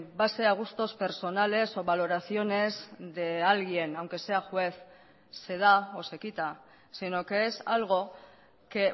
base a gustos personales o valoraciones de alguien aunque sea juez se da o se quita sino que es algo que